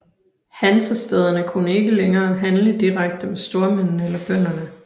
Hansestæderne kunne ikke længere handle direkte med stormændene eller bønderne